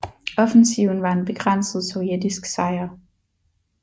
Offensiven var en begrænset sovjetisk sejr